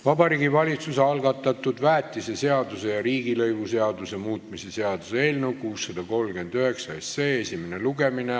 Vabariigi Valitsuse algatatud väetiseseaduse ja riigilõivuseaduse muutmise seaduse eelnõu 639 esimene lugemine.